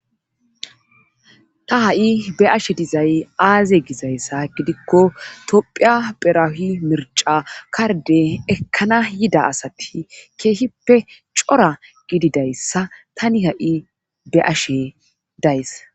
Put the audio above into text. ta ha7i be7ashe dizay aaze gizayssa gidikko tophiya pherahi mirca karde ekkana yida asati keehippe cora gididayssa tani ha7i be7ashe days.